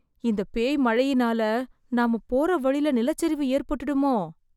இந்த பேய் மழையினால நாம போற வழில நிலச்சரிவு ஏற்பட்டுடுமோ...